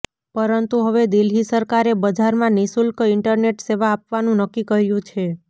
પરંતુ હવે દિલ્હી સરકારે બજારમાં નિશુલ્ક ઇન્ટરનેટ સેવા આપવાનું નક્કી કર્યું છે